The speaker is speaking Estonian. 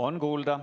On kuulda.